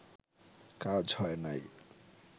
কাজ হয় নাই